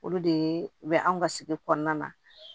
Olu de bɛ anw ka sigi kɔnɔna na